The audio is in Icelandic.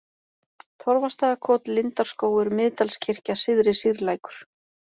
Torfastaðakot, Lindarskógur, Miðdalskirkja, Syðri-Sýrlækur